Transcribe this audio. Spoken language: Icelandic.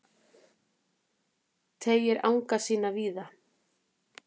Teygir anga sína víða